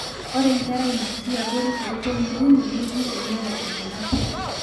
ore nkera naatii abori toompointi uni neji einyalate nena pii